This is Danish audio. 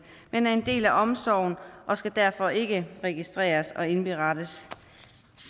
men er en del af omsorgen og skal derfor ikke registreres og indberettes